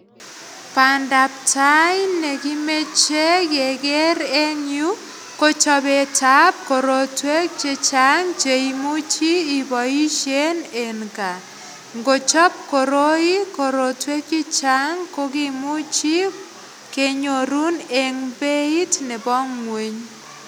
Bandaptai nekimeche keker en yuu ko chobet ab korotwek chechang cheimuchi iboisien en gaa ngochop koroi korotwek chechang ko kimuchi kenyorun en beit nebo ng'weny